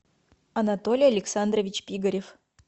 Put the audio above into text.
анатолий александрович пигарев